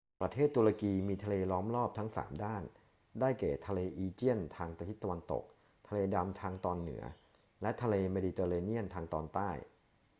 ประเทศตุรกีมีทะเลล้อมรอบทั้งสามด้าน ได้แก่ทะเลอีเจียนทางทิศตะวันตก ทะเลดำทางตอนเหนือ และทะเลเมดิเตอร์เรเนียนทางตอนใต้